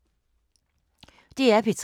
DR P3